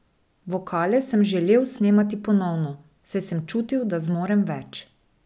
Vokale sem želel snemati ponovno, saj sem se čutil, da zmorem več.